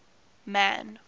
man